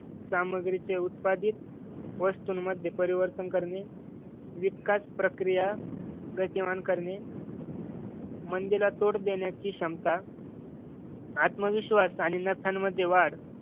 सामग्रीचे उत्पादित वस्तूंमध्ये परिवर्तन करणे. विकास प्रक्रिया गतिमान करणे. मंदिरा तोंड देण्याची क्षमता आत्मविश्वास आणि नात्यांमध्ये वाढ